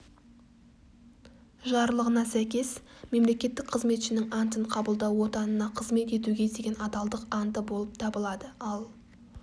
жарлығына сәйкес мемлекеттік қызметшінің антын қабылдау отанына қызмет етуге деген адалдық анты болып табылады ал